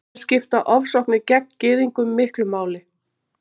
Hér skipta ofsóknir gegn Gyðingum miklu máli.